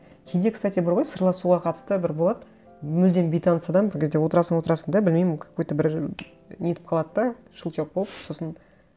кейде кстати бар ғой сырласуға қатысты бір болады мүлдем бейтаныс адам бір кезде отырасың отырасың да білмеймін какой то бір нетіп қалады да щелчок болып сосын